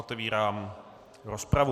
Otevírám rozpravu.